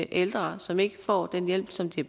ældre som ikke får den hjælp som de